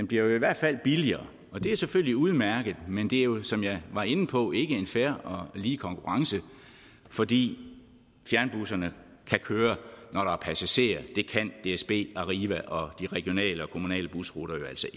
bliver i hvert fald billigere og det er selvfølgelig udmærket men det er jo som jeg var inde på ikke en fair og lige konkurrence fordi fjernbusserne kan køre når der er passagerer det kan dsb arriva og de regionale og kommunale busruter altså